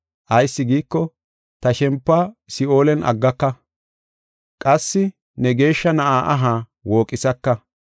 Ayis giiko, ta shempuwa Si7oolen aggaka. Qassi ne Geeshsha Na7a aha wooqisaka.